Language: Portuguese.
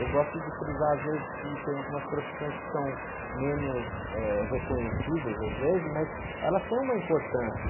Eu gosto de frisar, às vezes, que tem algumas profissões que são menos reconhecidas, eh, às vezes, mas ela tem uma importância.